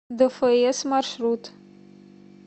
дэфээс маршрут